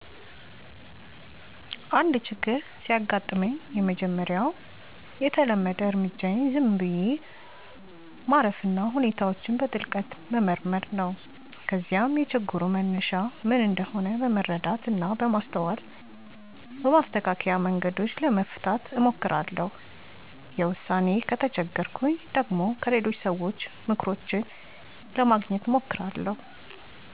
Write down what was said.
አንድ ችግር ሲያጋጥመኝ፣ የመጀመሪያው የተለመደ እርምጃዬ ዝም ብዬ ማረፍና ሁኔታውን በጥልቀት መመርመር ነው። ከዚያም የችግሩ መነሻ ምን እንደሆነ በመረዳት እና በማስተዋል በማስተካከያ መንገዶች ለመፍታት እሞክራለሁ። ለዉሳኔ ከተቸገርኩ ደግሞ፣ ከሌሎች ሰዎች ምክሮችን ለማግኘት እማክራለሁ።